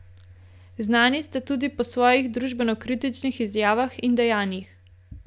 Znani ste tudi po svojih družbenokritičnih izjavah in dejanjih.